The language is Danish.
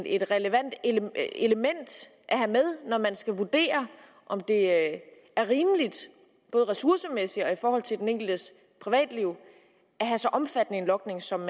et relevant element at have med når man skal vurdere om det er rimeligt både ressourcemæssigt og i forhold til den enkeltes privatliv at have så omfattende en logning som